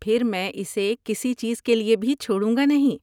پھر، میں اسےکسی چیز کے لیے بھی چھوڑوں گا نہیں۔